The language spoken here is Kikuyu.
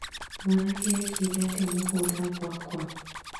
Mwanake ekire atĩa mũgũnda gwakwa